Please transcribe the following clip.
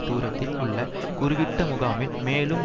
தூரத்தில் உள்ள குருவிட்ட முகாமில் மேலும்